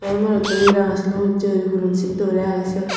morotto he ranga silum usse guri punan sitto guri age siyod